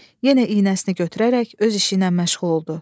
Yenə iynəsini götürərək öz işiylə məşğul oldu.